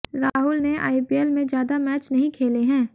राहुल ने आईपीएल में ज्यादा मैच नहीं खेले हैं